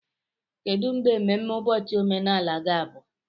Kedu mgbe mmemme ụbọchị omenala ga-abụ?